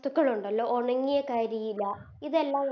ത്തുക്കളുണ്ടല്ലോ ഒണങ്ങിയ കരിയില ഇതെല്ലം